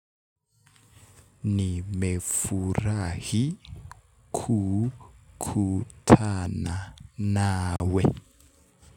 Nimefurahi. Kukutana nawe nawe.